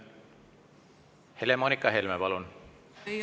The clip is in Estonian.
Helle-Moonika Helme, palun!